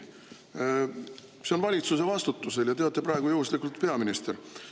See on valitsuse vastutusel ja teie olete praegu juhuslikult peaminister.